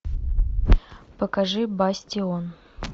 покажи бастион